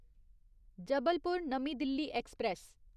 जबलपुर नमीं दिल्ली ऐक्सप्रैस